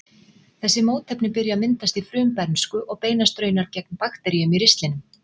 Þessi mótefni byrja að myndast í frumbernsku og beinast raunar gegn bakteríum í ristlinum.